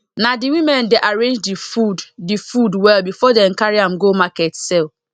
na the women dey arrange the food the food well before dem carry am go market sell